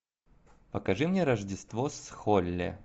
покажи мне рождество с холли